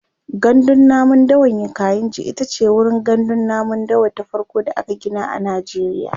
gandun namun dawan kainji itace wurin gandun namun dawa ta farko da aka Gina a najeriya